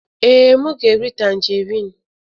Ee, m ga-eri tanjerịn.